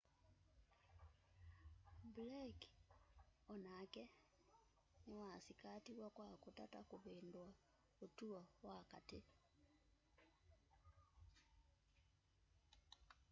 blake onake nĩwasĩkatiwe kwa kũtata kũvĩndũa ũtũo wa katĩ